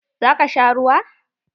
Zaka sha ruwa?